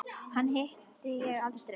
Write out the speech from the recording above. Hana hitti ég aldrei.